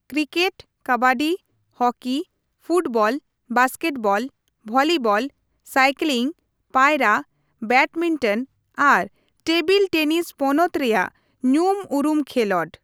Cricket, kabaddi, hockey, football, basketball, volleyball, cycling, ᱯᱟᱭᱨᱟ, badminton ᱟᱨ table tennis ᱯᱚᱱᱚᱛ ᱨᱮᱭᱟᱜ ᱧᱩᱢ ᱩᱨᱩᱢ ᱠᱷᱮᱞᱚᱸᱰ ᱾